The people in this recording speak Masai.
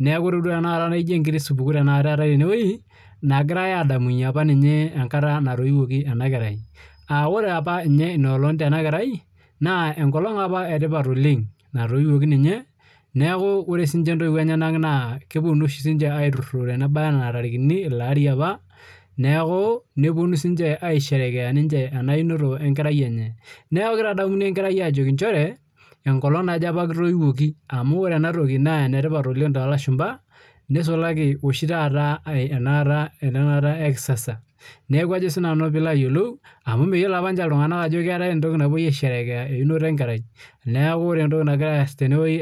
neeku ejio enkiti supukuu etae tenewueji naagirai adamunye enkata apa natoyiwuoki ena kerai aa ore apa ena olong Tena kerai naa enkolog etipat oleng natoyiwuoki ninye neeku ore siniche entoiwuo enenyena naa kepuonu aitururo Nena tarikini elo apa apaa neeku nepuonu sinche aisherekea ena inoto ena kerai enye neeku kitadamuni enkerai njeere ena olog apa kitoyiwuoki amu ore ena toki naa enetipat oleng too elashumba nisulaki oshi taata enakata ekisasa amu meyiolo AP ninche iltung'ana Ajo keetae entoki napuoi aisherekea einoto enkerai neeku ore entoki nagira aas tenewueji